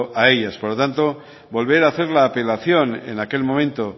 a ellas por lo tanto volver a hacer la apelación en aquel momento